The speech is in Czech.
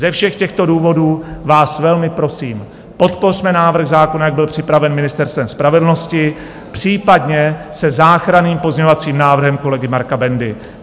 Ze všech těchto důvodů vás velmi prosím, podpořme návrh zákona, jak byl připraven Ministerstvem spravedlnosti, případně se záchranným pozměňovacím návrhem kolegy Marka Bendy.